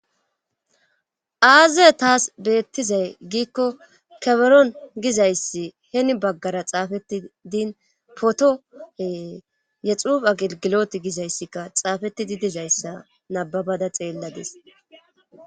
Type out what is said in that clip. aaze taas beettizay giikko keberon gizayssi heni baggara xaafeti din potoe yexuf agigilot gizayssikka xaafetidi dizayssa nababada xeelladis